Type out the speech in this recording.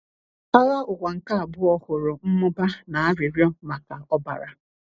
Agha Ụwa nke Abụọ hụrụ mmụba na arịrịọ maka ọbara.